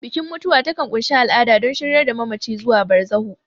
Bikin mutuwa takan ƙunshi al'ada don shiryar da mamaci zuwa barzahu.